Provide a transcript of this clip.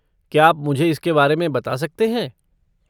क्या आप मुझे इसके बारे में बता सकते हैं?